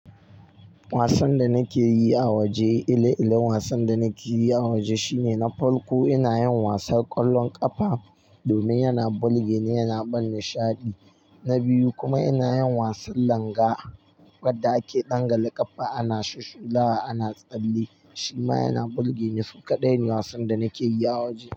Wasan da nake yi a waje, ile-ilen wasan da nake yi a waje shine na farko ina yin wasar ƙwallon ƙafa domin yana bulge ni yana ban nishaɗi. Na biyu kuma ina yin wasan langa wadda ake ɗangale ƙafa ana shusshulawa ana tsalle shima yana bulge ni. Suka kaɗai ne wasan da nake yi a waje.